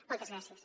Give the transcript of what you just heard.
moltes gràcies